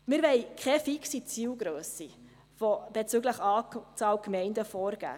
Wir wollen keine fixe Zielgrösse bezüglich Anzahl Gemeinden vorgeben.